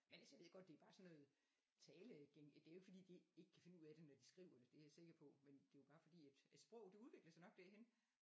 Men altså jeg ved godt det er bare sådan noget tale det er jo ikke fordi de ikke kan finde ud af det når de skriver det det er jeg sikker på men det er jo bare fordi at at sproget det udvikler sig nok derhen